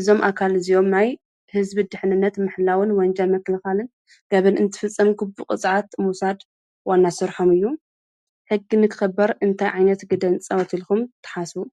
እዞም ኣካል እዙዮም ናይ ሕዝቢ ድኅንነት ምሕላውን ወንጀ መክልካልን ገብንእንቲ ፍጸም ግቡ ቕጽዓት ሙሳድ ወናሥርሖም እዩ ሕጊ ንክኽበር እንታይ ዓይነት ግደንጸወት ኢልኩም ተሓሱ።